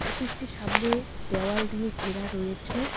Office -টির সামনে দেওয়াল দিয়ে ঘেরা রয়েছে।